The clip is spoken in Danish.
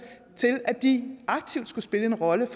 til at de aktivt skulle spille en rolle